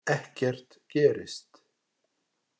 Ekkert gerist.